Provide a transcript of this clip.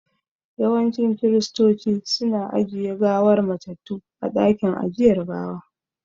Yawancin Kiristoci su na ajiye gawar matattu a dakin ajiyar gawa